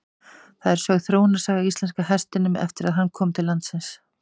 Þar er sögð þróunarsaga íslenska hestinum eftir að hann kom til landsins.